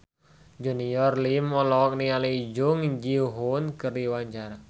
Junior Liem olohok ningali Jung Ji Hoon keur diwawancara